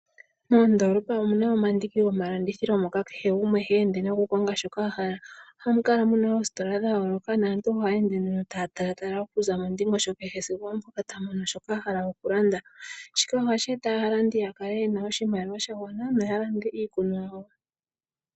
Moondolopa omuna omandiki gomalandithilo moka kehe gumwe heende no konga shoka ahala, ohamu kala muna ostola dhayoloka naantu ohaya ende taya talatala mondingosho kehe sigo ompo tamono shoka ahala okulanda , shika ohasho eta aalandi ya kale yena oshimaliwa shagwana no yalande iinima yawo.